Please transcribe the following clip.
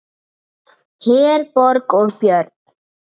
Herborg og Björn.